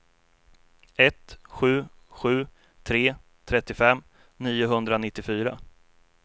ett sju sju tre trettiofem niohundranittiofyra